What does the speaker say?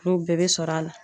Olu bɛɛ be sɔrɔ a la.